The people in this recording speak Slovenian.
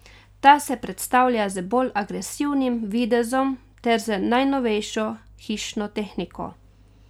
Ta se predstavlja z bolj agresivnim videzom ter z najnovejšo hišno tehniko.